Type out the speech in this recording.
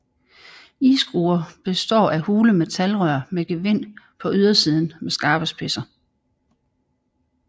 Iskruer består af hule metalrør med gevind på ydersiden med skarpe spidser